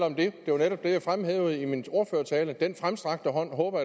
om det det var netop det jeg fremhævede i min ordførertale og den fremstrakte hånd håber